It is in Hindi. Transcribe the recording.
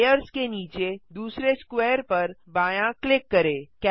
लेयर्स के नीचे दूसरे स्क्वायर पर बायाँ क्लिक करें